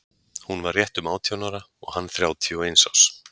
Hún var rétt um átján ára og hann þrjátíu og eins árs.